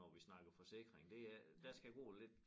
Når vi snakker forsikring det er der skal gå lidt